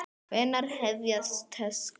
Hvenær hefjast tökur?